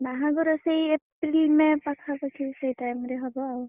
ବାହାଘର ସେ April, May ପାଖାପାଖି ସେଇ time ରେ ହବ ଆଉ।